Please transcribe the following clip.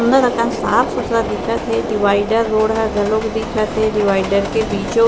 सूंदर आका साफ़ सुथार दिखत हे डिवाइडर रोड घलो दिखत हे डिवाइडर के बीचो ।--